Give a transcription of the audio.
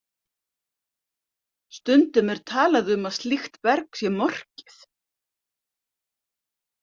Stundum er talað um að slíkt berg sé morkið.